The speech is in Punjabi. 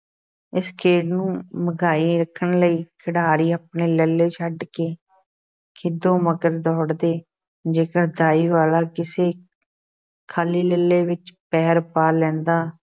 ਇਸ ਖੇਡ ਨੂੰ ਮਘਾਈ ਰੱਖਣ ਲਈ ਖਿਡਾਰੀ ਆਪਣੇ ਲੱਲ੍ਹੇ ਛੱਡ ਕੇ ਖਿੱਦੋ ਮਗਰ ਦੌੜਦੇ, ਜੇਕਰ ਦਾਈ ਵਾਲਾ ਕਿਸੇ ਖ਼ਾਲੀ ਲੱਲ੍ਹੇ ਵਿੱਚ ਪੈਰ ਪਾ ਲੈਂਦਾ